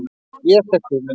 Ég fékk hugmynd.